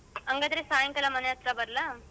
ಹಂಗಾದ್ರೆ ಸಾಯಿಂಕಾಲ ಮನೆ ಅತ್ರ ಬರ್ಲಾ?